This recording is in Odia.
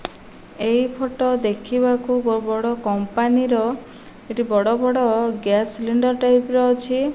ଏଇ ଫଟ ଦେଖିବାକୁ ବ ବଡ଼ କମ୍ପାନୀ ର। ଏଠି ବଡ଼ ବଡ଼ ଗ୍ୟାସ୍ ସିଲିଣ୍ଡର୍ ଟାଇପ ର ଅଛି।